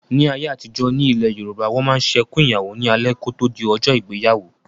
Ní ayé àtijọ́, ní ilẹ̀ Yorùbá, Wọ́n máa ń ṣe "Ẹkùn Ìyàwó" ní alẹ́ kò tó di ọjọ́ ìgbéyàwó